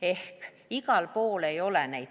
Ehk igal pool ei ole neid teenuseid.